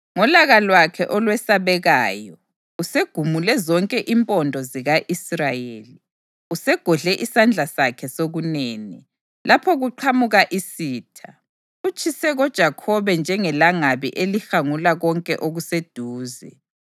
Ngolaka lwakhe olwesabekayo, usegumule zonke impondo zika-Israyeli. Usegodle isandla sakhe sokunene lapho kuqhamuka isitha. Utshise koJakhobe njengelangabi elihangula konke okuseduze.